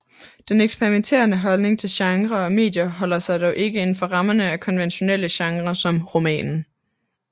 Den eksperimenterende holdning til genrer og medier holder sig dog ikke inden for rammerne af konventionelle genre som romanen